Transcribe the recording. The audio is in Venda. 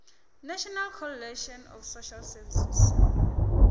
national coalition of social services